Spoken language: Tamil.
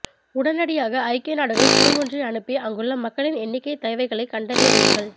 உடனடியாக ஐக்கிய நாடுகள் குழு ஒன்றை அனுப்பி அங்குள்ள மக்களின் எண்ணிக்கை தேவைகளை கண்டறிய வையுங்கள்